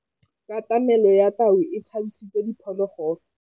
Katamêlô ya tau e tshabisitse diphôlôgôlô.